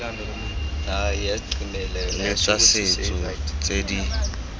le tsa setso tse di